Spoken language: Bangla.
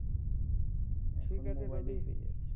হম হম ঠিক আছে